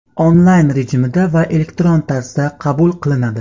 onlayn rejimda va elektron tarzda qabul qilinadi.